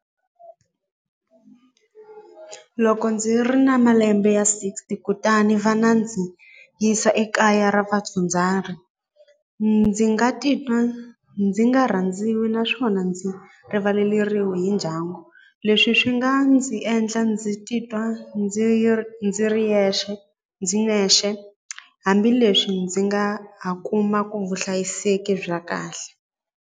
Loko ndzi ri na malembe ya sixty kutani va na ndzi yisa ekaya ra ndzi nga titwa ndzi nga rhandziwi naswona ndzi rivaleriwa hi ndyangu leswi swi nga ndzi endla ndzi titwa ndzi ndzi ri yexe ndzi nexe hambileswi ndzi nga ha kumaku vuhlayiseki bya kahle.